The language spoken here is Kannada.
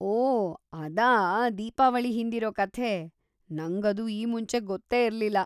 ಓಹ್‌, ಅದಾ ದೀಪಾವಳಿ ಹಿಂದಿರೋ ಕಥೆ. ನಂಗದು ಈ ಮುಂಚೆ ಗೊತ್ತೇ ಇರ್ಲಿಲ್ಲ.